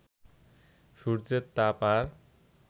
সূর্যের তাপ আর